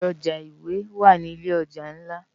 Ibi òjá iwé wá ni ilé òjá nlá